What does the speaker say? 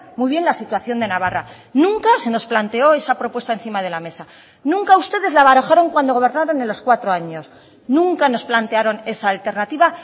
muy bien la situación de navarra nunca se nos planteó esa propuesta encima de la mesa nunca ustedes la barajaron cuando gobernaron en los cuatro años nunca nos plantearon esa alternativa